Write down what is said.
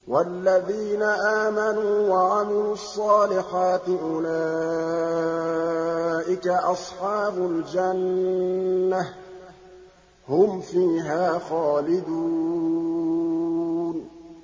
وَالَّذِينَ آمَنُوا وَعَمِلُوا الصَّالِحَاتِ أُولَٰئِكَ أَصْحَابُ الْجَنَّةِ ۖ هُمْ فِيهَا خَالِدُونَ